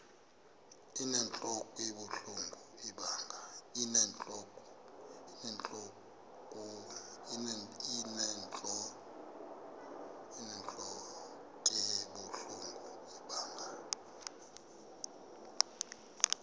inentlok ebuhlungu ibanga